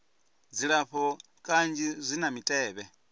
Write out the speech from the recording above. dzilafho kanzhi zwi na mitevhe